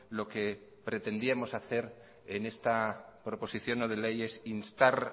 lo que pretendíamos hacer en esta proposición no de ley es instar